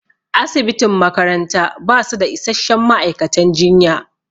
Asibitin makaranta basu da isasshen ma'aikatan jinya